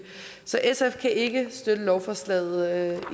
så sf kan ikke støtte lovforslaget